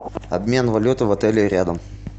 обмен валюты в отеле рядом